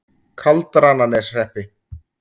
Kaldrananeshreppi